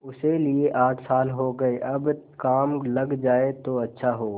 उसे लिये आठ साल हो गये अब काम लग जाए तो अच्छा हो